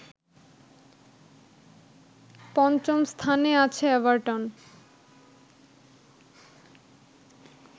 পঞ্চম স্থানে আছে এভারটন